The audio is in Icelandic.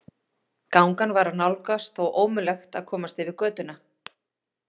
Gangan var að nálgast og ómögulegt að komast yfir götuna.